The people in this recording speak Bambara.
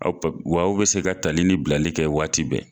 Aw pap waw be se ka tali ni bilali kɛ waati bɛɛ